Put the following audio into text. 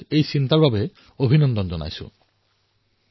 এতিয়া এয়া সুনিশ্চিত কৰাৰ সময় যে আমাৰ সামগ্ৰীসমূহো যাতে বিশ্বমানৰ হয়